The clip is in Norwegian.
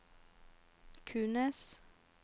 Kunes